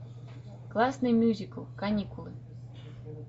классный мюзикл каникулы